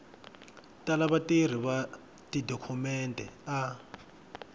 tala vatirhi va tidokhumente a